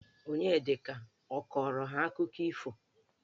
Onyedika ọ kọrọ ha akụkọ ifo?